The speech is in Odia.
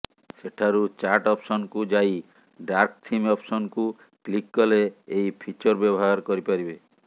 ସେଠାରୁ ଚାଟ ଅପସନକୁ ଯାଇ ଡାର୍କଥିମ ଅପସନକୁ କ୍ଲିକ କଲେ ଏହି ଫିଚର ବ୍ୟବହାର କରିପାରିବେ